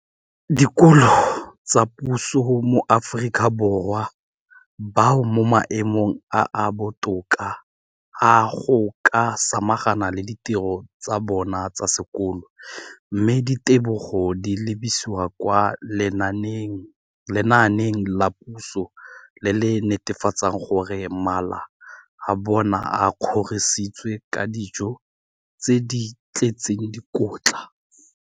Dikolo tsa puso mo Aforika Borwa ba mo maemong a a botoka a go ka samagana le ditiro tsa bona tsa sekolo, mme ditebogo di lebisiwa kwa lenaaneng la puso le le netefatsang gore mala a bona a kgorisitswe ka dijo tse di tletseng dikotla.